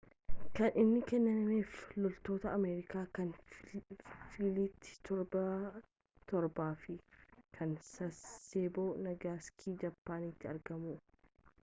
kan inni kennameef loltoota ameerikaa kan filiit torbaffaa fi kan sasebo nagasakii japaaniiti argamu